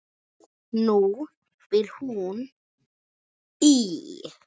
Nú býr hún í